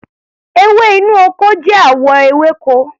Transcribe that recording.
Ewé inú ọkọ jẹ́ àwọ ewéko.